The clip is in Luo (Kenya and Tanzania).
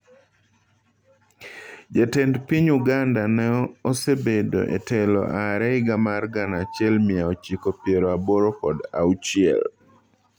Jatend piny Uganda no osebedo e telo aare higa mar gana achiel mia ochiko piero aboro kod auchiel.